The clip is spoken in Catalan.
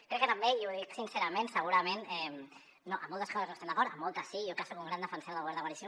crec que també i ho dic sincerament segurament amb moltes coses no hi estem d’acord amb moltes sí jo que soc un gran defensor del govern de coalició